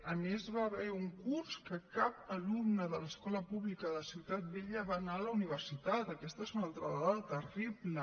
a més hi va haver un curs que cap alumne de l’escola pública de ciutat vella va anar a la universitat aquesta és una altra dada terrible